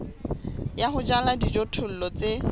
ya ho jala dijothollo tse